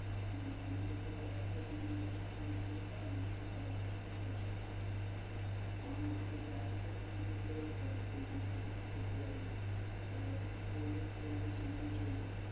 হ্যাঁ আমাকে তো আর একটা season ব্যবসা করলে চলবে না, আমাকে তো সারা বছরে ব্যবসাটা করতে হবে। আমি যদি ice cream বিক্রি করতে পারি তাহলে cold drinks ও বিক্রি করতে পারব এবার cold drinks তো গরমের সময়ও চলবে।